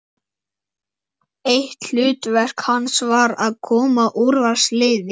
Eitt hlutverk hans var að koma úrvalsliði